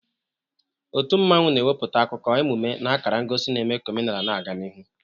Otu mmanwu na-ewepụta akụkọ, emume na akara ngosi na-eme ka omenaala na-aga n'ihu.